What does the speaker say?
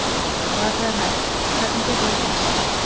Og ef það er hægt, hvernig getur það gerst?